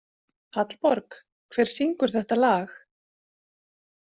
Hallborg, hver syngur þetta lag?